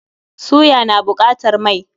Suya na buƙatar mai.